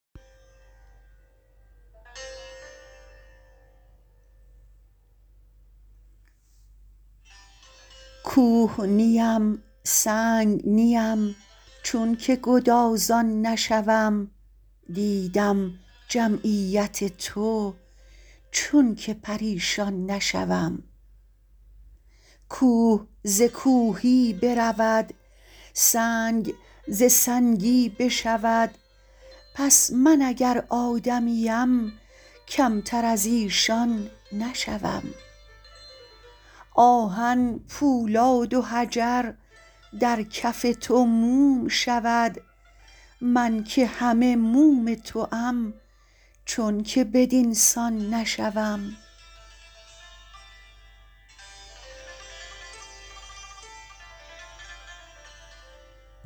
کوه نیم سنگ نیم چونک گدازان نشوم دیدم جمعیت تو چونک پریشان نشوم کوه ز کوهی برود سنگ ز سنگی بشود پس من اگر آدمیم کمتر از ایشان نشوم آهن پولاد و حجر در کف تو موم شود من که همه موم توام چونک بدین سان نشوم